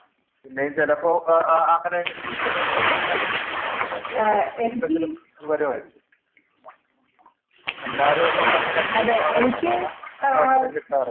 പിന്നെയും ചിലപ്പോ അങ്ങനെ ഇങ്ങനെഒക്കെ ഇപ്പൊ തിരുവനന്തപുരത്തൊക്കെയാണെങ്കിൽ പിന്നേം അങ്ങനെ ഇങ്ങനെ ഒക്കെ ന്തെങ്കിലും വരുവാരിക്കും അല്ലാതെ നമ്മക്കങ്ങനെ ഇപ്പൊ കാണാനുള്ള അവസരം കിട്ടാറില്ല